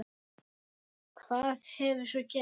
Hvað hefur svo gerst?